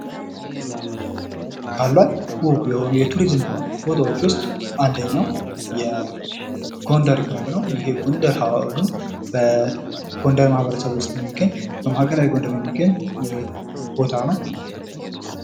ካሏት ዉብ የሆኑ የቱሪዝም ቦታዎች ውስጥ አንደኛው የጎንደር ግንብ ነው:: ይህ የጎንደር ግንብ በጎንደር ማህበረሰብ ውስጥ የሚገኝ በማዕከላዊ ጎንደር የሚገኝ ቦታ ነው::